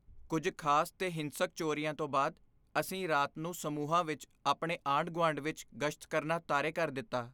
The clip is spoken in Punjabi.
ਕੁੱਝ ਖ਼ਾਸ ਤੇ ਹਿੰਸਕ ਚੋਰੀਆਂ ਤੋਂ ਬਾਅਦ ਅਸੀਂ ਰਾਤ ਨੂੰ ਸਮੂਹਾਂ ਵਿੱਚ ਆਪਣੇ ਆਂਢ ਗੁਆਂਢ ਵਿੱਚ ਗਸ਼ਤ ਕਰਨਾ ਤਾਰੇ ਕਰ ਦਿੱਤਾ